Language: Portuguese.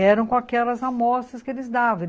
Eram com aquelas amostras que eles davam.